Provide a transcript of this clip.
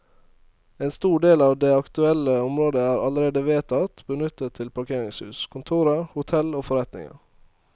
En stor del av det aktuelle området er allerede vedtatt benyttet til parkeringshus, kontorer, hotell og forretninger.